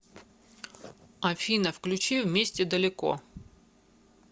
афина включи вместе далеко